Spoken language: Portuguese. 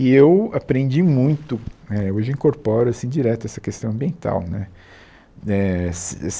E eu aprendi muito, é, hoje incorporo assim direto essa questão ambiental né eh se se